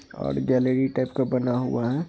और gallery type का बना हुआ है।